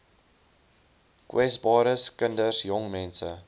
kwesbares kinders jongmense